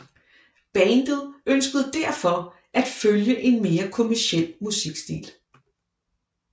Bandet ønskede derfor at følge en mere kommerciel musikstil